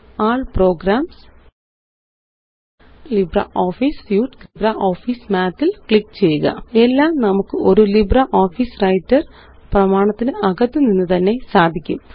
all programs LibreOffice സ്യൂട്ടെഗ്ട്ഗ്ട് LibreOffice Math ല് click ചെയ്യുക എല്ലാം നമുക്ക് ഒരു ലിബ്രിയോഫീസ് വ്രൈട്ടർ പ്രമാണത്തിന് അകത്തുനിന്നുതന്നെ സാധിക്കും